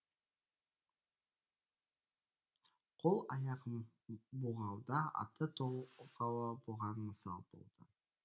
қол аяғым бұғауда атты толғауы бұған мысал болады